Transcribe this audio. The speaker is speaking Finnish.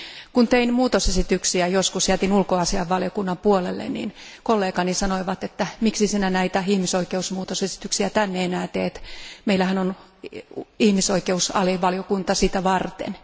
Kun tein muutosesityksiä, joskus jätin ne ulkoasiainvaliokunnan puolelle ja kollegani sanoivat, että miksi sinä näitä ihmisoikeusmuutosesityksiä tänne enää teet, meillähän on ihmisoikeusalivaliokunta sitä varten.